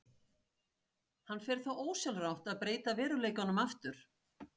Hann fer þá ósjálfrátt að breyta veruleikanum aftur.